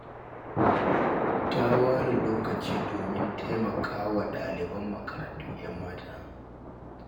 Ta ware lokaci domin taimaka wa ɗaliban makarantun 'yan mata